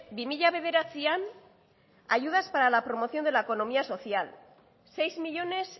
bi mila bederatzian ayudas para la promoción de la economía social seis millónes